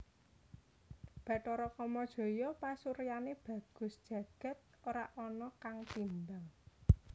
Bathara Kamajaya pasuryané bagus jagad ora ana kang timbang